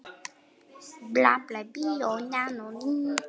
Aldrei í lífinu.